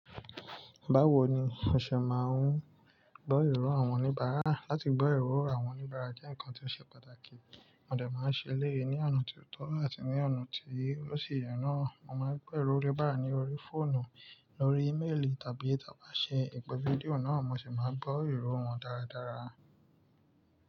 Báwo ni o ṣe máa ń gbọ́ ìró àwọn oníbàárà? Látì gbọ́ ìró àwọn oníbàárà jẹ́ ǹkan tó ṣe pàtàkì. Mò dẹ máa ń ṣe léè ní ọ̀nà tó tọ́ àti ní ọ̀nà tí ó sì yẹ náà. Mo máa ń gbọ́ ìró oníbàárà ní orí fóònù, lórí íméèlì tàbí tí a bá ṣe ìpè fídíò náà mo sì máa gbọ́ ìró wọn dáradára.